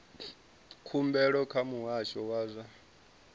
khumbelo kha muhasho wa zwa